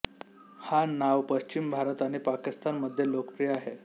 हा नाव पश्चिम भारत आणि पाकिस्तान मध्ये लोकप्रिय आहे